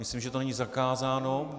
Myslím, že to není zakázáno.